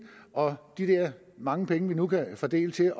og de der mange penge vi nu kan fordele til